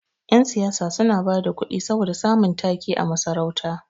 Yan siyasa suna bada kuɗi saboda samun ta-ke a masarauta.